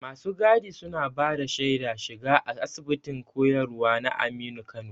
Masu gadi suna bada shaida shiga a Asibitin koyarwa na Aminu Kano.